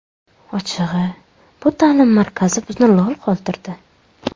Ochig‘i, bu ta’lim markazi bizni lol qoldirdi.